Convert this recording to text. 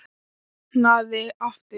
Opnaði aftur.